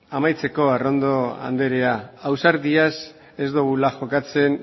amaitzeko arrondo andrea ausardiaz ez dogula jokatzen